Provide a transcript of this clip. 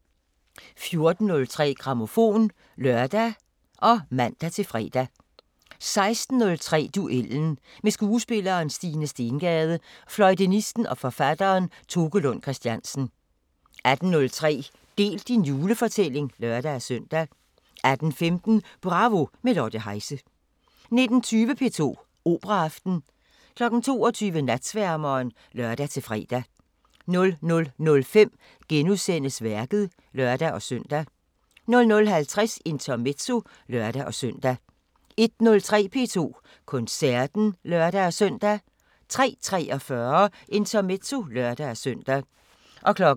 14:03: Grammofon (lør og man-fre) 16:03: Duellen – med skuespilleren Stine Stengade og fløjtenisten og forfatteren Toke Lund Christiansen 18:03: Del din julefortælling (lør-søn) 18:15: Bravo – med Lotte Heise 19:20: P2 Operaaften 22:00: Natsværmeren (lør-fre) 00:05: Værket *(lør-søn) 00:50: Intermezzo (lør-søn) 01:03: P2 Koncerten (lør-søn) 03:43: Intermezzo (lør-søn)